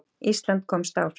Ísland komst áfram